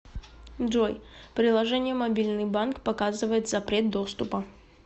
джой приложение мобильный банк показывает запрет доступа